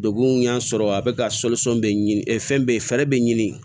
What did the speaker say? Degun y'a sɔrɔ a bɛ ka bɛ ɲini ɛ fɛn bɛɛ fɛ fɛɛrɛ bɛ ɲini